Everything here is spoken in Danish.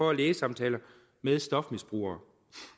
og lægesamtaler med stofmisbrugere